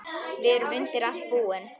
Við erum undir allt búin.